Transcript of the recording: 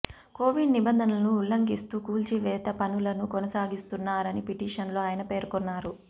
Covid నిబంధనలను ఉల్లంఘిస్తూ కూల్చివేత పనులను కొనసాగిస్తున్నారని పిటిషన్ లో ఆయన పేర్కొన్నారు